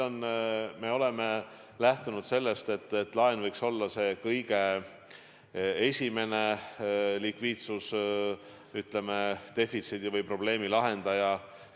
Me oleme lähtunud sellest, et laen võiks olla see kõige esimene likviidsusdefitsiidi või -probleemi lahendaja.